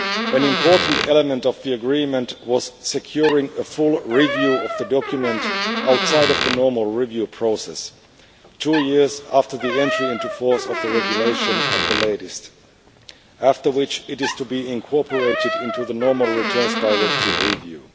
An important element of the agreement was securing a full review of the document outside of the normal review process, two years after the entry into force of the regulation at the latest, after which it is to be incorporated into the normal Returns Directive review.